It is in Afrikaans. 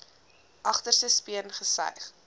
agterste speen gesuig